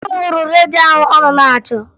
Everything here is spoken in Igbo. Nna m hụrụ redio ahụ ọ nọ na-achọ